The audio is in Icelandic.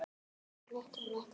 Svo miklu, miklu meira.